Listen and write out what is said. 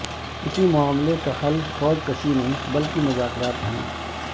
کسی معاملے کا حل فوج کشی نہیں بلکہ مذاکرات ہیں